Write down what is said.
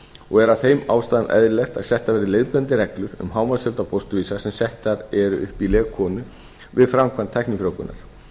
og er af þeim ástæðum eðlilegt að settar verði leiðbeinandi reglur um hámarksfjölda fósturvísa sem settir eru upp í leg konu við framkvæmd tæknifrjóvgunar